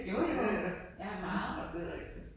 Jo jo, ja meget